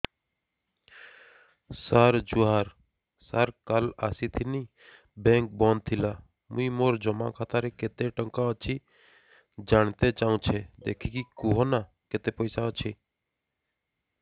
ସାର ଜୁହାର ସାର କାଲ ଆସିଥିନି ବେଙ୍କ ବନ୍ଦ ଥିଲା ମୁଇଁ ମୋର ଜମା ଖାତାରେ କେତେ ଟଙ୍କା ଅଛି ଜାଣତେ ଚାହୁଁଛେ ଦେଖିକି କହୁନ ନା କେତ ପଇସା ଅଛି